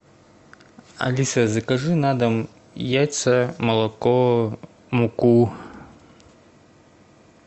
алиса закажи на дом яйца молоко муку